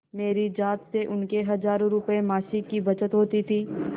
मेरी जात से उनको हजारों रुपयेमासिक की बचत होती थी